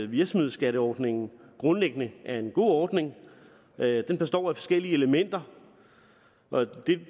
virksomhedsskatteordningen grundlæggende er en god ordning den består af forskellige elementer